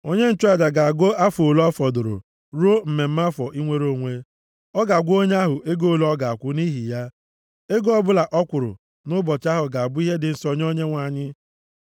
onye nchụaja ga-agụ afọ ole ọ fọdụrụ ruo mmemme afọ inwere onwe. Ọ ga-agwa onye ahụ ego ole ọ ga-akwụ nʼihi ya. Ego ọbụla ọ kwụrụ nʼụbọchị ahụ ga-abụ ihe dị nsọ nye Onyenwe anyị.